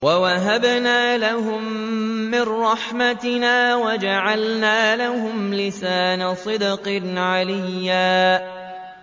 وَوَهَبْنَا لَهُم مِّن رَّحْمَتِنَا وَجَعَلْنَا لَهُمْ لِسَانَ صِدْقٍ عَلِيًّا